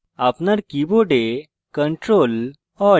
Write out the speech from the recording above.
আপনার কীবোর্ডctrl alt এবং t একসাথে